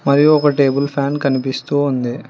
మరియు ఒక table fan కనిపిస్తూ ఉంది.